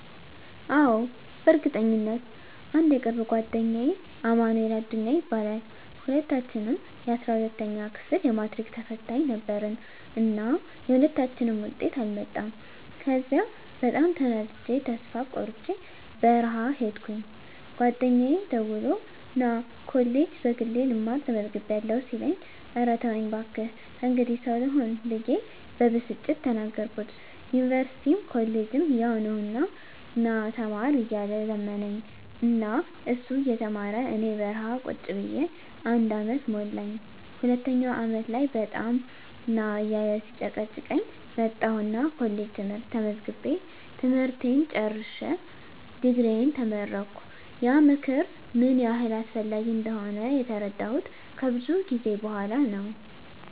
አዎ፣ በእርግጠኝነት! *አንድ የቅርብ ጓደኛዬ አማንኤል አዱኛ ይባላል፦ *ሁለታችንም የ12ኛ ክፍል የማትሪክ ተፈታኝ ነበርን እና የሁለታችንም ውጤት አልመጣም ከዚያ በጣም ተናድጀ ተስፋ ቆርጨ በረሀ ሂድኩኝ ጓደኛየ ደውሎ ና እኔ ኮሌጅ በግሌ ልማር ተመዝግቢያለሁ ሲለኝ እረ ተወኝ ባክህ ከእንግዲህ ሰው ልሆን ብየ በብስጭት ተናገርኩት ዩኒቨርስቲም ኮሌጅም ያው ነው ና ተማር እያለ ለመነኝ እና እሱ እየተማረ እኔ በረሀ ቁጭ ብየ አንድ አመት ሞላኝ ሁለተኛው አመት ላይ በጣም ና እያለ ሲጨቀጭቀኝ መጣሁና ኮሌጅ ትምህርት ተመዝግቤ ትምህርቴን ጨርሸ ድግሪየን ተመረቀሁ። *ያ ምክር ምን ያህል አስፈላጊ እንደሆነ የተረዳሁት ከብዙ ጊዜ በኋላ ነው።